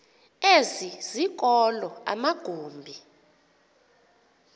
ezi zikolo amagumbi